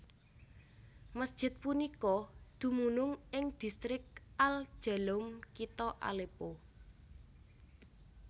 Mesjid punika dumunung ing distrik al Jalloum kitha Aleppo